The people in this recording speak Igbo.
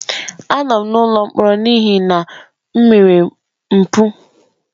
Anọ m n'ụlọ mkpọrọ n'ihi na m mere mpụ.